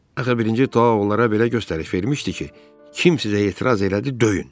Axı birinci Dao onlara belə göstəriş vermişdi ki, kim sizə etiraz elədi, döyün.